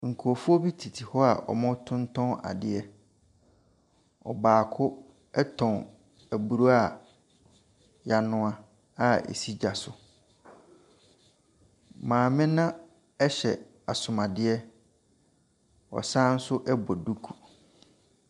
Nkrɔfoɔ bi tete hɔ a wɔretontɔn adeɛ, ɔbaako tɔn aburo a yanoa a esi gya so. Maame no ahyɛ asomadeɛ, ɔsan so bɔ duku.